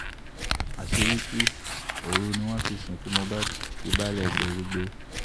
àṣírí tú òru ni wọ́n fi sìnkú mohbad kí baálé gbérígbé